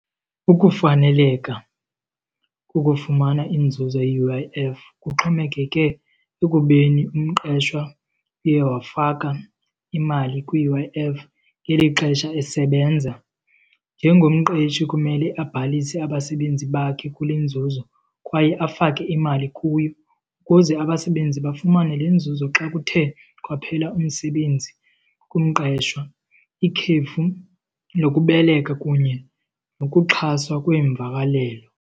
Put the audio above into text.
Ukufaneleka ukufumana inzuzo ye-U_I_F kuxhomekeke ekubeni umqeshwa uye wafaka imali kwi-U_I_F ngeli xesha esebenza. Njengomqeshi kumele abhalise abasebenzi bakhe kule nzuzo kwaye afake imali kuyo ukuze abasebenzi bafumane le nzuzo xa kuthe kwaphela umsebenzi kumqeshwa, ikhefu lokubeleka kunye nokuxhaswa kweemvakalelo.